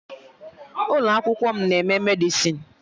Ụlọ akwụkwọ m na-eme Medịsịn